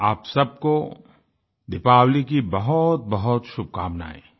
आप सबको दीपावली की बहुत बहुत शुभकामनाएं